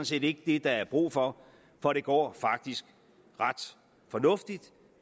set ikke det der er brug for for det går faktisk ret fornuftigt